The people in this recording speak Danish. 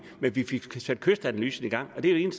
men vi fik sat kystanalysen i gang og det er jo